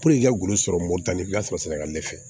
i ka golo sɔrɔ moritantuya sɔrɔ sira la ne fɛ